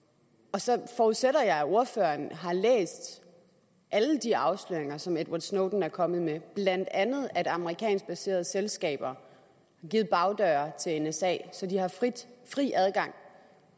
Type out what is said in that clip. og så forudsætter jeg at ordføreren har læst alle de afsløringer som edward snowden er kommet med blandt andet at amerikansk baserede selskaber har givet bagdøre til nsa så de har haft fri adgang